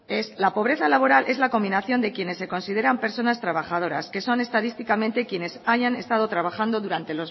la pobreza laboral es la combinación de quienes se consideran personas trabajadoras que son estadísticamente quienes hayan estado trabajando